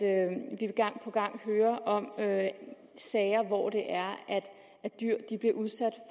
gang på gang hører om sager hvor det er at dyr bliver udsat